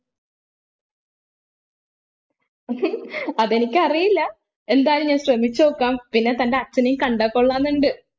അതെനിക്കറിയില്ല എന്തായാലും ഞാൻ ശ്രമിച്ച് നോക്കാം പിന്നെ തൻ്റെ അച്ഛനേം കണ്ടാ കൊള്ളാം ന്നുണ്ട്